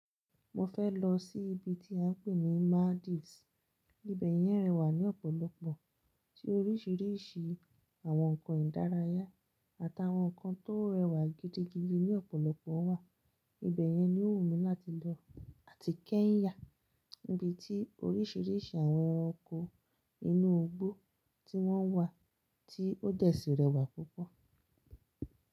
Mo fẹ́ lọ sí ibi tí a ń pè ní Maldives. Ibẹ̀ yẹn rẹwà ní ọ̀pọ̀lọpọ̀, tí orísìírísìí àwọn ǹkan ìdárayá àtàwọn ǹkan tó rẹwà gidigidi ní ọ̀pọ̀lọpọ̀ wà Ibẹ̀ yẹn ni ó wù mí láti lọ, àti Kenya, ibi tí orísìírísìí àwọn eranko inú gbó tí wọ́n wà tí ó dẹ́ sì rẹ́wà púpọ̀.